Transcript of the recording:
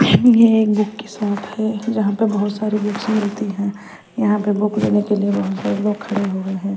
ये एक बुक की शॉप है जहाँ पर बहोत सारी बुक्स मिलती है यहाँ पर बुक लेने के लिए बहोत सारे लोग खड़े हुए है।